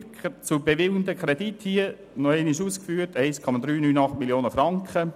Der zu bewilligende Kredit beträgt – noch einmal ausgeführt – 1,398 Mio. Franken.